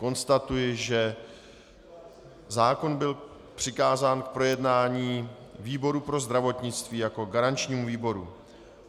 Konstatuji, že zákon byl přikázán k projednání výboru pro zdravotnictví jako garančnímu výboru.